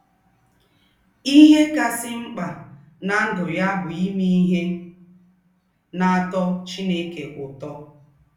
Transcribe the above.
Íhè kásị̀ m̀kpà ná ndụ́ yá bụ́ ímè íhè nà-átọ́ Chínèké ứtọ̀.